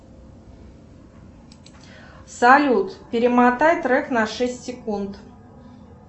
салют перемотай трек на шесть секунд